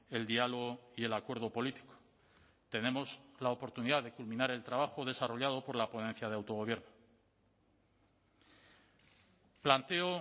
el diálogo y el acuerdo político tenemos la oportunidad de culminar el trabajo desarrollado por la ponencia de autogobierno planteo